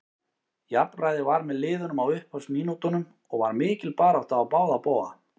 Jafnræði var með liðunum á upphafsmínútunum og var mikil barátta á báða bóga.